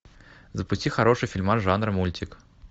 запусти хороший фильмас жанр мультик